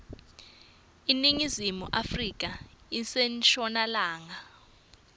iningizimu afrika ise nshonalanga